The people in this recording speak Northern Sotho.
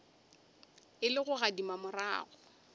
e le go gadima morago